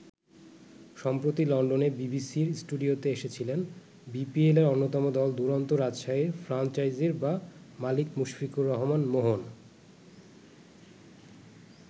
সম্প্রতি লন্ডনে বিবিসির স্টুডিওতে এসেছিলেন বিপিএলের অন্যতম দল দুরন্ত রাজশাহীর ফ্রাঞ্চাইজি বা মালিক মুশফিকুর রহমান মোহন।